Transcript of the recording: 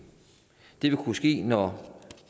det vil kunne ske når